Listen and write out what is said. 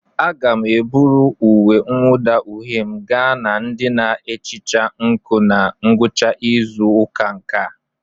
Aga m eburu uwe mwụda uhie m gaa na ndị na-ehicha nkụ na ngwụcha izu ụka a.